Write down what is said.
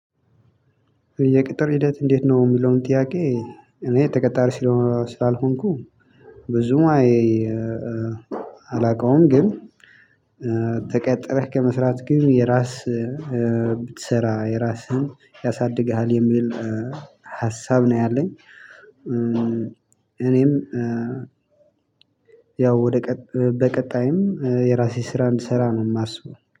የቅጥር ሂደት እንዴት ነው የሚለውን ጥያቄ? እኔ ተቀጣሪ ስለሆነ ስላልሆንኩ ብዙም አላውቀውም። ግን ተቀጥረህ ከመስራት ግን የራስ ብትሰራ የራስህን ያሳድግሃል የሚል ሀሳብ ነው ያለኝ። እኔም ያው ወደ በቀጣይም የራሴ ስራ እንድሰራ ነው የማስበው